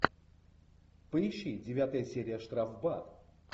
поищи девятая серия штрафбат